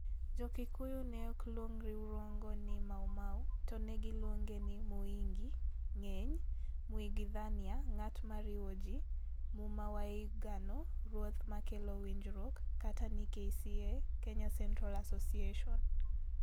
Jo-Kikuyu ne ok luong riwruogno ni Maumau, to ne giluonge ni "Muingi" (ng'eny), "Muigwithania" (ng'at ma riwo ji), "Muma wa Uiguano" (ruoth ma kelo winjruok), kata ni KCA (Kenya Central Association.